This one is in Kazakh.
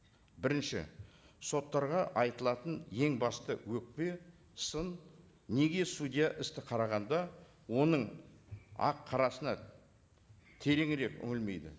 бірінші соттарға айтылатын ең басты өкпе сын неге судья істі қарағанда оның ақ қарасына тереңірек өнілмейді